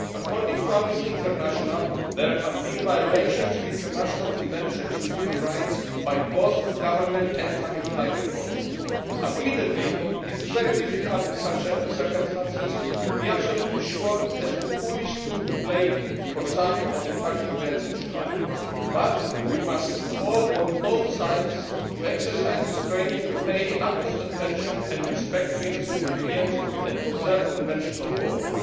According to Amnesty International, there have been violations of international conventions and human rights by both Government and Tamil Tiger forces. Admittedly, it is very difficult in such circumstances to be absolutely sure as to who is to be blamed for some of the tragic events in Sri Lanka, but we must call on both sides to exercise restraint and to pay utmost attention and respect to innocent civilians, and to observe the conventions of war.